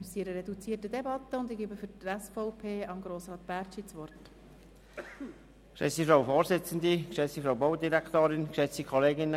Wir befinden uns in einer reduzierten Debatte, und ich erteile für die SVP-Fraktion Grossrat Bärtschi das Wort.